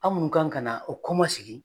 An munnu kan ka na o kɔma segi